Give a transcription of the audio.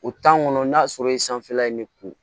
O kɔnɔ n'a sɔrɔ yen sanfɛla ye ne kun